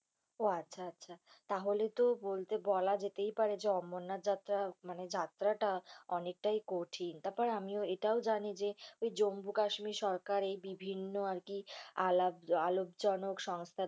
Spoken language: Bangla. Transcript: উহ আচ্ছা। তাহলে তো বলতে বলা যেতেই পারে যে অমরনাথ যাত্রা মানে যাত্রাটা অনেকটাই কঠিন। তারপর আমিও এটাও জানি যে জম্মু কাশ্মীর সরকার এই বিভিন্ন আরকি আলাপ আলোকজনক সংস্থার